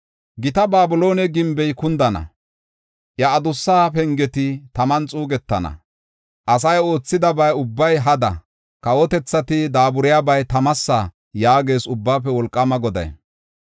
“Gita Babiloone gimbey kundana; iya adussa pengeti taman xuugetana. Asay oothidaba ubbay hada; kawotethati daaburiyabay tamasa” yaagees Ubbaafe Wolqaama Goday.